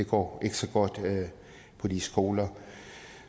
går så godt på de skoler